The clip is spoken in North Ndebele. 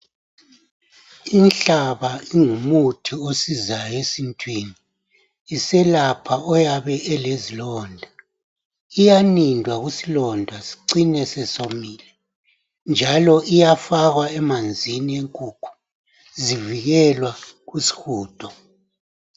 Inhlaba ingumuthi osizayo esintwini, iselapha oyabe elezilonda. Iyanindwa kusilonda sicine sesomile njalo iyafakwa emanzini enkukhu zivikelwa kusihudo.